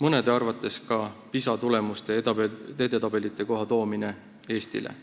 mõne arvates Eestile ka PISA tulemustega edetabelikohti tuua.